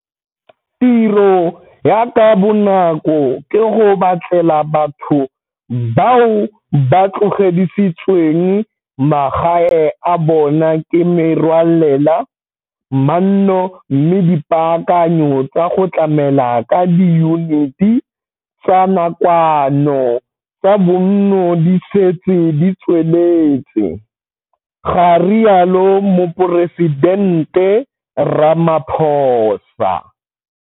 Tiro ya ka bonako ke go batlela batho bao ba tlogedisitsweng magae a bona ke merwalela manno mme dipaakanyo tsa go tlamela ka diyuniti tsa nakwano tsa bonno di setse di tsweletse, ga rialo Moporesidente Ramaphosa.